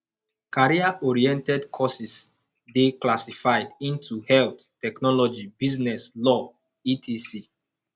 career oriented courses de classified into health technology business law etc